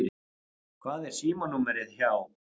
Hvað er símanúmerið hjá